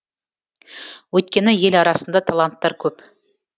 өйткені ел арасында таланттар көп